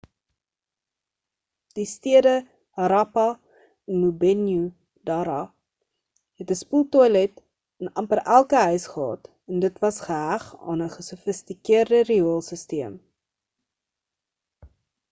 die stede harappa en mohenjo-dara het 'n spoeltoilet in amper elke huis gehad en dit was geheg aan 'n gesofistikeerde rioolsisteem